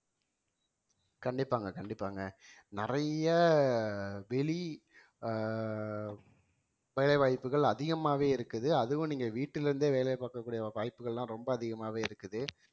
கண்டிப்பாங்க கண்டிப்பாங்க நிறைய வெளி~ அஹ் வேலைவாய்ப்புகள் அதிகமாவே இருக்குது அதுவும் நீங்க வீட்டிலிருந்தே வேலை பார்க்கக்கூடிய வாய்ப்புகள் எல்லாம் ரொம்ப அதிகமாவே இருக்குது